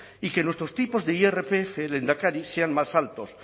y que nuestros tipos de irpf lehendakari sean más altos